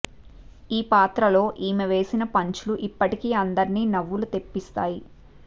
ఈ పాత్ర లో ఈమె వేసిన పంచ్ లు ఇప్పటికి అందర్నీ నవ్వులు తెప్పిస్తాయి